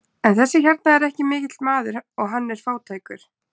En þessi hérna er ekki mikill maður og hann er fátækur.